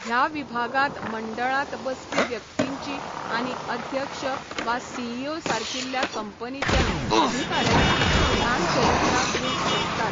ह्या विभागांत मंडळांत बसपी व्यक्तींची आनी अध्यक्ष वा सीईओ सारकिल्या कंपनीच्या अधिकाऱ्यांची ल्हान चरित्रां दिवंक शकतात.